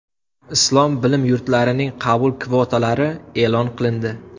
Islom bilim yurtlarining qabul kvotalari e’lon qilindi.